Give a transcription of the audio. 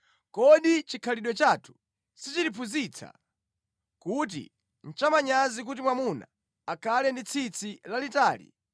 Kodi chikhalidwe chathu sichitiphunzitsa kuti nʼchamanyazi kuti mwamuna akhale ndi tsitsi lalitali,